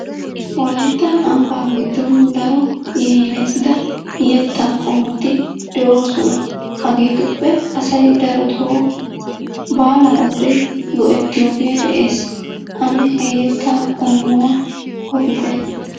Wolayitta ambbaa giddon daro yaynetida yettaa qommoti de'oosona. Hagetuppe asay daroto baala wode go'ettiyogee de'ees. Ane he yettaa qommuwa odite.